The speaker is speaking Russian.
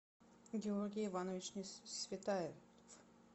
георгий иванович несветаев